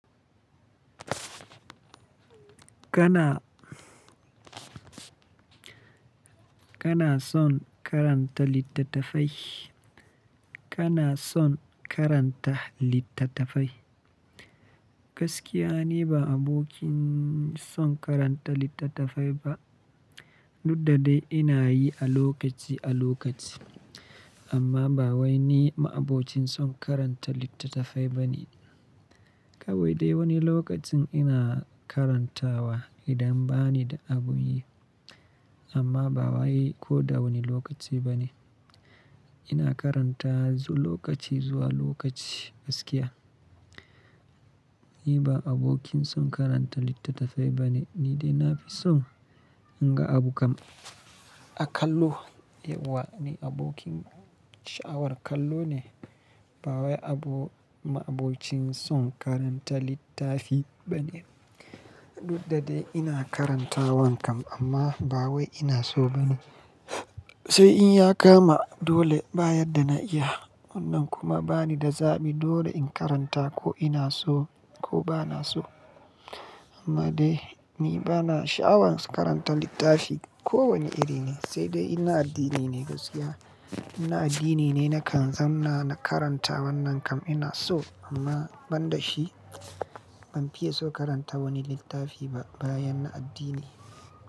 Kana, kana son karanta littattafai? Kana son karanta littattafai? Gaskiya ne ba abokin son karanta littattafai ba. Dudda dai ina yi a lokaci a lokaci. Amma ba wai ni ma'abocin son karanta littattafai ba ne. Kawai dai wani lokacin ina karantawa idan bani da abun yi. Amma ba wai ko da wani lokaci ba ne. Ina karanta lokaci zuwa lokaci gaskiya. Ni ba abokin son karanta littattafai ba ne, ni dai na fi son inga abu kam a kallo. Yauwa, ni abokin sha'awar kallo ne. Ba wai abo-- ma'abocin son karanta littafi ba ne. Dudda dai ina karantawan kam amma ba wai ina so ba ne. Sai in ya kama dole ba yadda na iya. Wannan kuma bani da zaɓi dole in karanta ko ina so ko ba na so. Amma dai ni bana sha'awar karanta littafi kowane iri ne, sai dai ina addini ne gaskiya. In na addini ne nakan zamna na karanta wannan kam ina so amma ban da shi ban fiye so karanta wani littafi ba bayan na addini.